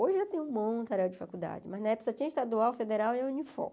Hoje já tem um monte de faculdade, mas na época só tinha Estadual, Federal e Unifor.